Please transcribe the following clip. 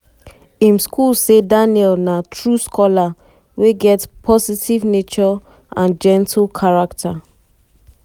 im school say daniel na "true scholar" wey get "positive nature and gentle character".